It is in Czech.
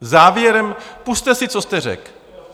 Závěrem - pusťte si, co jste řekl.